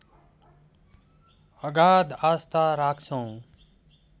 अगाध आस्था राख्छौँ